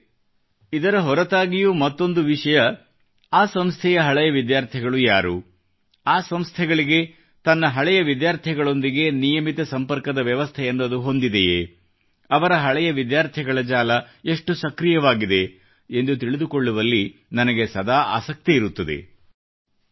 ಸ್ನೇಹಿತರೆ ಇದರ ಹೊರತಾಗಿಯೂ ಮತ್ತೊಂದು ವಿಷಯ ಆ ಸಂಸ್ಥೆಯ ಹಳೆಯ ವಿದ್ಯಾರ್ಥಿಗಳು ಯಾರು ಆ ಸಂಸ್ಥೆಗಳಿಗೆ ತನ್ನ ಹಳೆಯ ವಿದ್ಯಾರ್ಥಿಗಳೊಂದಿಗೆ ನಿಯಮಿತ ಸಂಪರ್ಕದ ವ್ಯವಸ್ಥೆಯನ್ನು ಅದು ಹೊಂದಿದೆಯೇ ಅವರ ಹಳೆಯ ವಿದ್ಯಾರ್ಥಿಗಳ ಜಾಲ ಎಷ್ಟು ಸಕ್ರೀಯವಾಗಿದೆ ಎಂದು ತಿಳಿದುಕೊಳ್ಳುವಲ್ಲಿ ನನಗೆ ಸದಾ ಆಸಕ್ತಿಯಿರುತ್ತದೆ